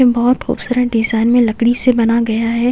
बहुत खूबसूरत डिजाइन में लकड़ी से बना गया है।